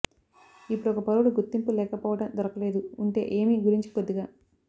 ఇప్పుడు ఒక పౌరుడు గుర్తింపు లేకపోవడం దొరకలేదు ఉంటే ఏమి గురించి కొద్దిగా